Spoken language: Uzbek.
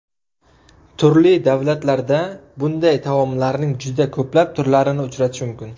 Turli davlatlarda bunday taomlarning juda ko‘plab turlarini uchratish mumkin.